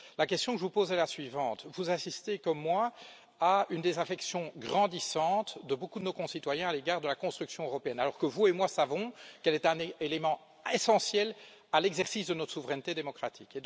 La question que je vous pose est la suivante vous assistez comme moi à une désaffection grandissante de beaucoup de nos concitoyens à l'égard de la construction européenne, alors que vous et moi savons qu'elle est un élément essentiel à l'exercice de notre souveraineté démocratique.